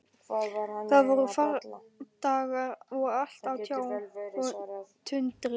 Það voru fardagar og allt á tjá og tundri.